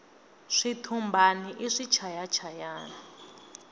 switumbani i swichaya chayani